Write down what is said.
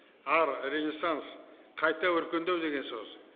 ар риасанс қайта өркендеу деген сөз